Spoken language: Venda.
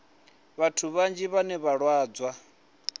vhathu vhanzhi vhane vha lwadzwa